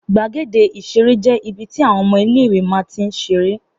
Gbàgéde ìṣeré jé ibi tí àwọn ọmọ iléìwè má n tín ṣeré